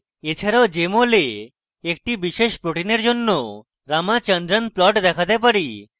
এছাড়াও আমরা jmol a একটি বিশেষ protein জন্য ramachandran plots দেখাতে পারি